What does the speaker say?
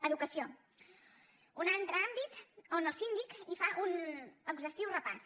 educació un altre àmbit on el síndic fa un exhaustiu repàs